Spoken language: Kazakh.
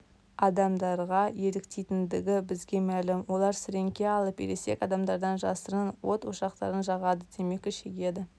адамдарға еліктейтіндігі бізге мәлім олар сіреңке алып ересек адамдардан жасырын от ошақтарын жағады темекі шегеді